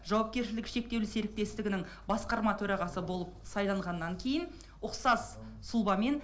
жауапкершілігі шектеулі серіктестігінің басқарма төрағасы болып сайланғаннан кейін ұқсас сұлбамен